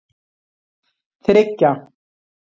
þriggja